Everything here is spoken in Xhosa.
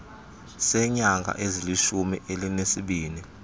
seenyanga ezilishumi elinesibini